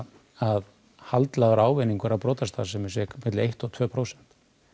að ávinningur af brotastarfsemi sé um eitt til tvö prósent